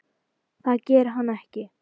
Það gerir hann ekki!